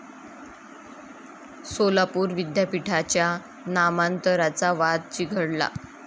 सोलापूर विद्यापीठाच्या नामांतराचा वाद चिघळला